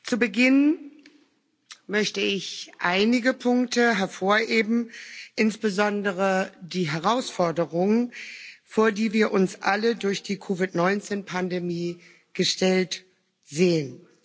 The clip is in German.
Zu Beginn möchte ich einige Punkte hervorheben, insbesondere die Herausforderung, vor die wir uns alle durch die COVID 19 Pandemie gestellt sehen.